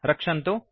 रक्षन्तु